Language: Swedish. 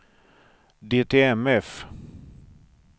DTMF